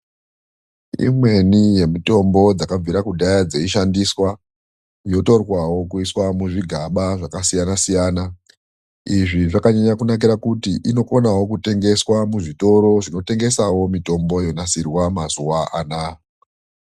Imweni yemitombo dzakabvira kudhaya dzeichishandiswa yotorwawo kuiswe muzvigaba zvakasiyana siyana. Izvi zvakanyanya kunakira kuti inokonawo kutengeswa muzvitoro zvinotengesawo mitombo yonasirwe mazuwa anaya